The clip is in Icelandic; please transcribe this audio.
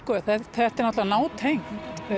þetta er náttúrulega nátengt